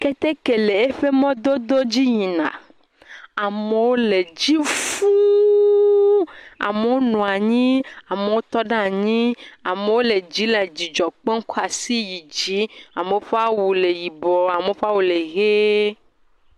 Keteke le eƒe mɔdzi yina. Amewo le edzi fũuu. Amewo nɔ anyi. Amewo tɔ ɖe anyi. Amewo le dzii le dzidzɔ kpɔm kɔ asi yi dzi. Amewo ƒe awu le yibɔɔ, amewo ƒe awu le ʋee